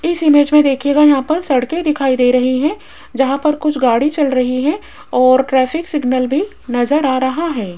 इस इमेज में देखिएगा यहां पर सड़के दिखाई दे रही है जहां पर कुछ गाड़ी चल रही है और ट्रैफिक सिग्नल भी नजर आ रहा है।